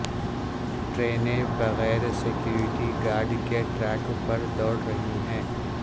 ٹرینیں بغیر security guard کے ٹریک پر دوڑ رہی ہیں